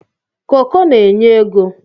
koko na-anye ego.